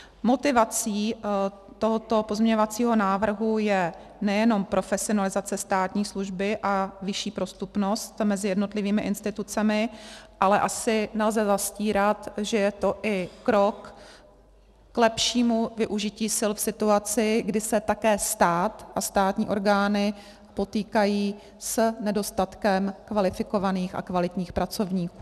Motivací tohoto pozměňovacího návrhu je nejenom profesionalizace státní služby a vyšší prostupnost mezi jednotlivými institucemi, ale asi nelze zastírat, že je to i krok k lepšímu využití sil v situaci, kdy se také stát a státní orgány potýkají s nedostatkem kvalifikovaných a kvalitních pracovníků.